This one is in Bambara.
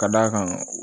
Ka d'a kan